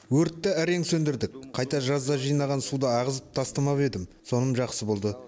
өртті әрең сөндірдік қайта жазда жинаған суды ағызып тастамап едім соным жақсы болды